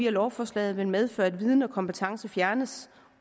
at lovforslaget vil medføre at viden og kompetence fjernes